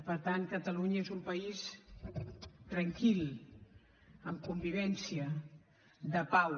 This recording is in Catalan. per tant catalunya és un país tranquil amb convivència de pau